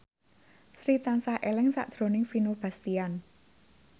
Sri tansah eling sakjroning Vino Bastian